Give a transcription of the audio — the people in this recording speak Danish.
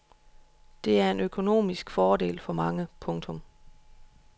Det er en økonomisk fordel for mange. punktum